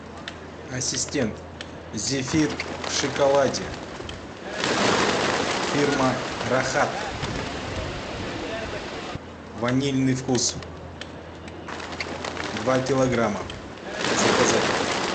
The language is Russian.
ассистент зефир в шоколаде фирма рахат ванильный вкус два килограмма заказать